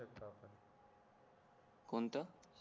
कोणतं